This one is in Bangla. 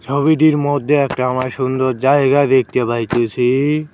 ছবিটির মদ্যে একটা আমায় সুন্দর জায়গা দেখতে পাইতেসি।